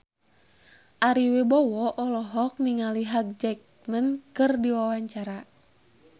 Ari Wibowo olohok ningali Hugh Jackman keur diwawancara